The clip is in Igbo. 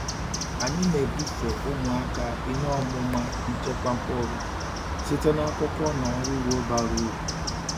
Anyị na-ebufe ụmụaka ihe ọmụma nchekwa mkpụrụ site n’akụkọ na ọrụ ugbo bara uru.